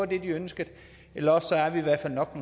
det de ønskede eller også er vi i hvert fald nok